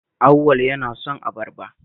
Auwal yana son abarba